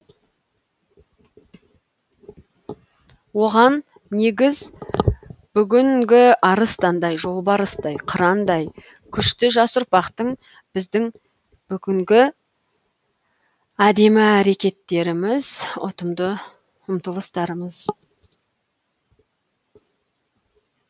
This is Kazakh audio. оған негіз бүгінгі арыстандай жолбарыстай қырандай күшті жас ұрпақтың біздің бүгінгі әдемі әрекеттеріміз ұтымды ұмтылыстарымыз